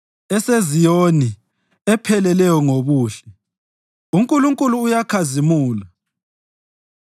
EseZiyoni, epheleleyo ngobuhle, uNkulunkulu uyakhazimula.